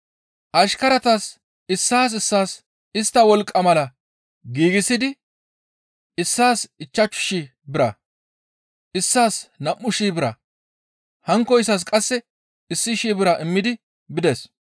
Ashkaratas issaas issaas istta wolqqa mala giigsidi issaas ichchashu shii bira, issaas nam7u shii bira, hankkoyssas qasse issi shii bira immidi bides.